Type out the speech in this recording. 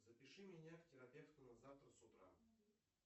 запиши меня к терапевту на завтра с утра